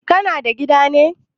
Kana da gida ne?